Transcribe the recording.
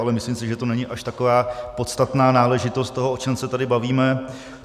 Ale myslím si, že to není až taková podstatná náležitost toho, o čem se tady bavíme.